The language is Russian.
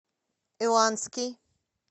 иланский